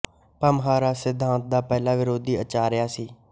ਭਾਮਹ ਰਸ ਸਿਧਾਂਤ ਦਾ ਪਹਿਲਾਂ ਵਿਰੋਧੀ ਆਚਾਰੀਆ ਸੀ